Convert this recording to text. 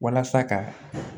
Walasa ka